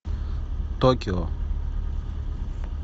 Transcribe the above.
токио